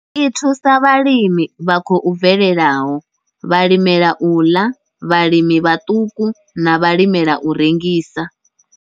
I thusa vhalimi vha khou bvelelaho, vhalimela u ḽa, vhalimi vhaṱuku na vhalimela u rengisa.